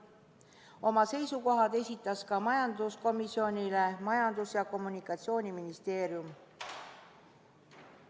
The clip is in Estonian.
Oma seisukohad esitas majanduskomisjonile Majandus- ja Kommunikatsiooniministeerium.